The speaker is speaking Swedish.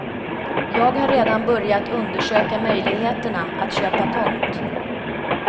Jag har redan börjat undersöka möjligheterna, att köpa tomt.